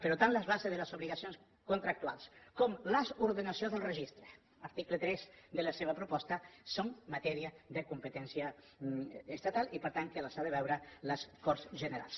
però tant les bases de les obligacions contractuals com les ordenacions del registre article tres de la seva proposta són matèria de competència estatal i per tant que les han de veure les corts generals